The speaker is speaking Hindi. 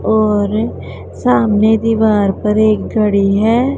और सामने दीवार पर एक घड़ी है।